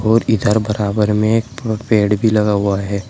और इधर बराबर में पेड़ भी लगा हुआ है।